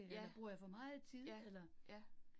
Ja. Ja, ja